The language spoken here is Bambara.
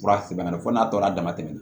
Fura tɛmɛna fo n'a tɔ na dama tɛmɛna